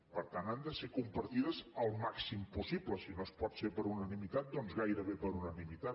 per tant han de ser compartides al màxim possible si no pot ser per unanimitat doncs gairebé per unanimitat